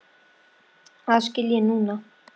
Það skil ég núna.